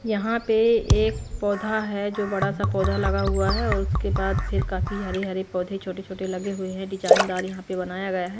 यहां पे एक पौधा है जो बड़ा सा पौधा लगा हुआ है और उसके बाद फिर काफी हरे-हरे पौधे छोटे-छोटे लगे हुए हैं डिजाइनदार यहां पे बनाया गया है।